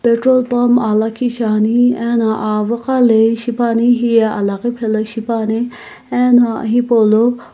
petrol pump ah lakhi shiane na aviigh laei pani heye alaghi phaeo shipa ne ano hipou lo --